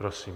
Prosím.